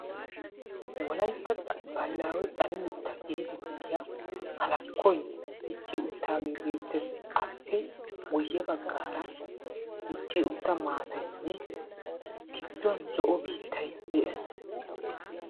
Wolaytta baahilaawe xale mitta geetettiya halakkoy dicci uttaagee beettees. Appe guyye baggaara dicci utta maataynne gidduwan zo'o biittay dees.